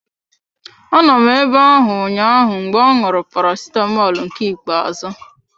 Anọ m abe ahụ ụnyaahụ mgbe ọ ṅụrụ Paracetamọl nke ikpe azụ.